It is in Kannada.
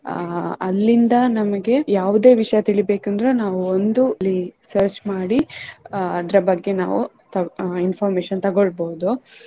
ಅಹ್ ಅಲ್ಲಿಂದ ನಮಗೆ ಯಾವುದೇ ವಿಷಯ ತಿಳಿಬೇಕಂದ್ರೆ ನಾವು ಒಂದು link search ಮಾಡಿ ಅಹ್ ಅದರ ಬಗ್ಗೆ ನಾವು information ತೊಗೊಳ್ಬೋದು.